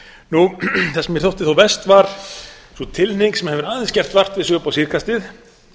það sem mér þótti þó verst var sú tilhneiging sem hefur aðeins gert vart við sig upp á síðkastið